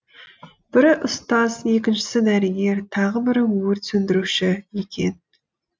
бірі ұстаз екіншісі дәрігер тағы бірі өрт сөндіруші екен